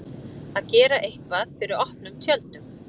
Að gera eitthvað fyrir opnum tjöldum